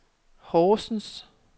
Horsens